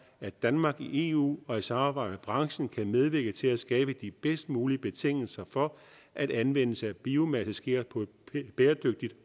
at danmark i eu og i samarbejde branchen kan medvirke til at skabe de bedst mulige betingelser for at anvendelse af biomasse sker på et bæredygtigt